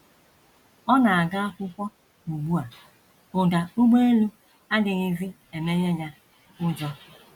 Ọ na - aga akwụkwọ ugbu a, ụda ụgbọelu adịghịzi emenye ya ụjọ.